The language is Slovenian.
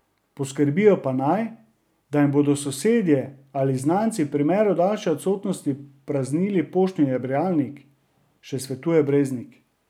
Poskrbijo pa naj, da jim bodo sosedje ali znanci v primeru daljše odsotnosti praznili poštni nabiralnik, še svetuje Breznik.